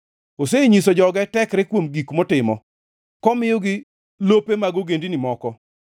Osenyiso joge tekre kuom gik motimo komiyogi lope mag ogendini moko.